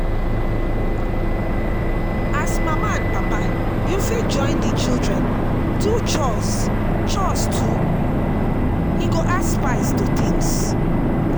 As mama and papa, you fit join di children do chores chores too, e go add spice to things